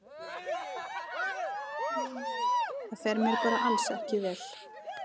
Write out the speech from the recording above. Það fer mér bara alls ekki vel.